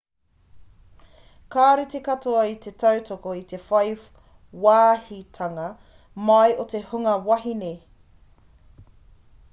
kāore te katoa i te tautoko i te whai wāhitanga mai o te hunga wahine